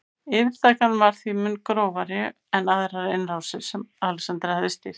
Yfirtakan var því mun grófari en aðrar innrásir sem Alexander hafði stýrt.